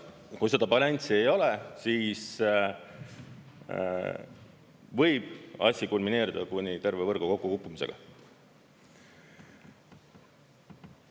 Kui seda balanssi ei ole, siis võib asi kulmineeruda terve võrgu kokkukukkumisega.